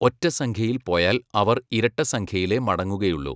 ഒറ്റ സംഖ്യയിൽ പോയാൽ അവർ ഇരട്ട സംഖ്യയിലെ മടങ്ങുകയുള്ളു.